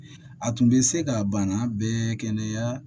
A tun bɛ se ka bana bɛɛ kɛnɛya